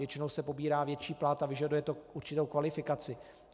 Většinou se pobírá větší plat a vyžaduje to určitou kvalifikaci.